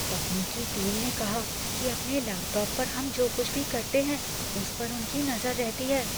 तकनीकी टीम ने कहा कि अपने लैपटॉप पर हम जो कुछ भी करते हैं, उस पर उनकी नज़र रहती है।